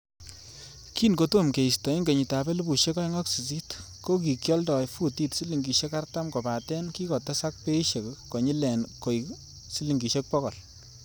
Kin kotom keisto en kenyitab elfusiek oeng ak sisit, ko kikioldo futit silingisiek artam, kobaten kikotesak beishek konyilen koik silingisiek bogol.